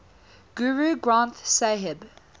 guru granth sahib